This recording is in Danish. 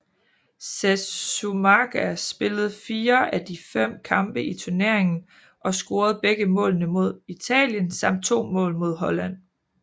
Sesúmaga spillede fire af de fem kampe i turneringen og scorede begge målene mod Italien samt to mål mod Holland